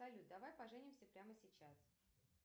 салют давай поженимся прямо сейчас